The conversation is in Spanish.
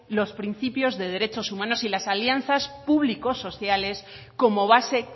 los principios de derechos humanos y las alianzas público sociales como base